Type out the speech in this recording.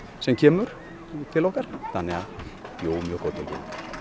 sem kemur til okkar þannig að jú mjög góð tilfinning